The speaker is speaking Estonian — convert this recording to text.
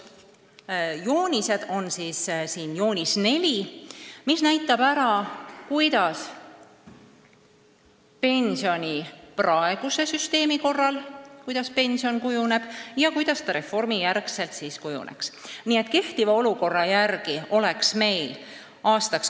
Joonis 4 näitab hästi, kuidas pension praeguse süsteemi korral kujuneb ja kuidas pärast reformi.